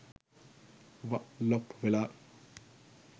" ව" ලොප් වෙලා.